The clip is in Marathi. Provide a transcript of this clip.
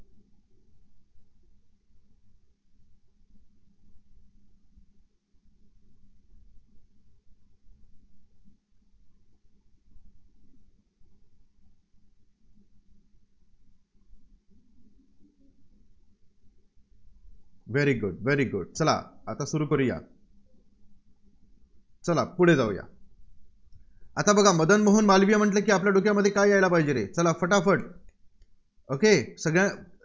very good very good चला आता सुरू करूया चला पुढे जाऊया आता बघा मदन मोहन मालवीय म्हटलं की आपल्या डोक्यामध्ये काय यायला पाहिजे रे? चला फटाफट Okay सगळ्या